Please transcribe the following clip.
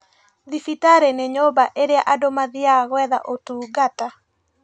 Thibitari nĩ nyũmba ĩrĩa andũ mathiaga gwetha ũtungata